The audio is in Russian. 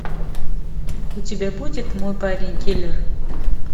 у тебя будет мой парень киллер